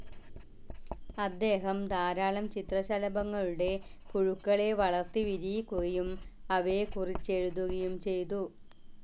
അദ്ദേഹം ധാരാളം ചിത്രശലഭങ്ങളുടെ പുഴുക്കളെ വളർത്തി വിരിയിക്കുകയും അവയെക്കുറിച്ചെഴുതുകയും ചെയ്തു.